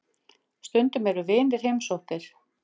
Stundum eru vinir heimsóttir.